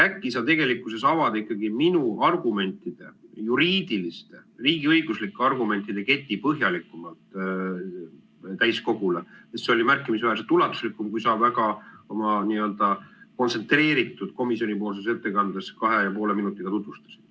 Äkki sa tegelikkuses avad ikkagi minu argumentide, juriidiliste, riigiõiguslike argumentide keti põhjalikumalt täiskogule, sest see oli märkimisväärselt ulatuslikum, kui sa oma väga n-ö kontsentreeritud komisjoni ettekandes kahe ja poole minutiga tutvustasid.